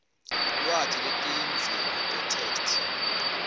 lwati lwetidzingo tetheksthi